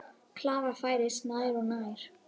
Klara færist nær og nær.